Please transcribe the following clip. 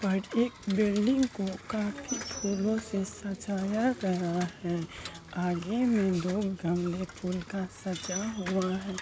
White building को का फूलो से सजाया गया हैं आगे में गमले फूल का सजा हुआ हैं।